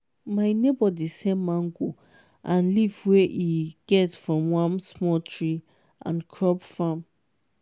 my neighbour dey sell mango and leaf wey e get from one small tree and crop farm.